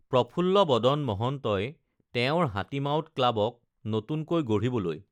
প্ৰফুল্ল বদন মহন্তই তেওঁৰ হাতী মাউত ক্লাৱক নতুনকৈ গঢ়িবলৈ